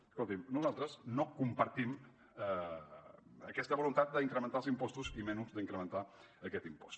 escolti’m nosaltres no compartim aquesta voluntat d’incrementar els impostos i menys d’incrementar aquest impost